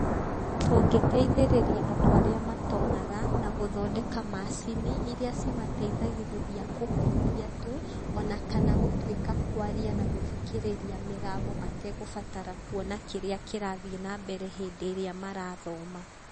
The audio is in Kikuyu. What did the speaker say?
Tũngĩteithĩrĩria andũ arĩa matonaga na gũthondeka macini iria cimateithagĩrĩria kũhutia tu. Ona kana gũtuĩka kwaria na gũthikĩrĩria mĩgambo mategũbatara kuona kĩrĩa kĩrathiĩ na mbere hĩndĩ ĩrĩa marathoma.